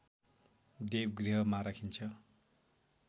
देवगृहमा राखिन्छ